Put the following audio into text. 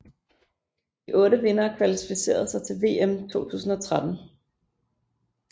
De otte vindere kvalificerede sig til VM 2013